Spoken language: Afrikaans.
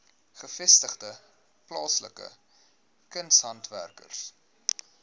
gevestigde plaaslike kunshandwerkers